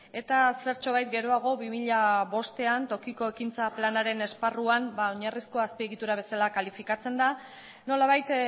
eta zertxobait geroago bi mila bostean tokiko ekintza planaren esparruan oinarrizko azpiegitura bezala kalifikatzen da nolabait